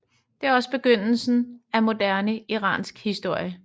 Det er også begyndelsen af moderne iransk historie